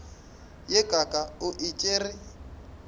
ye kaaka o e tšere